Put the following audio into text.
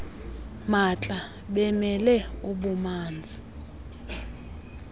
maatla bemele ububanzi